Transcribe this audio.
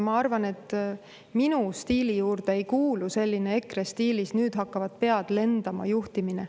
Ja minu stiili juurde ei kuulu selline EKRE stiilis "nüüd hakkavad pead lendama" juhtimine.